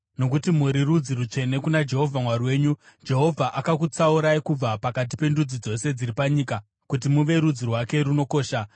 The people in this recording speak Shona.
nokuti muri rudzi rutsvene kuna Jehovha Mwari wenyu. Jehovha akakutsaurai kubva pakati pendudzi dzose dziri panyika kuti muve rudzi rwake runokosha.